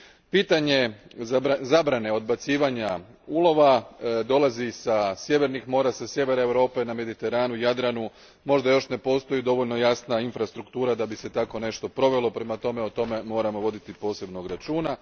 Pitanje zabrane odbacivanja ulova dolazi sa sjevernih mora, sa Sjevera Europe, na Mediteranu, Jadranu možda još ne postoji dovoljno jasna infrastruktura da bi se tako nešto provelo, prema tome o tome moramo voditi posebnog računa.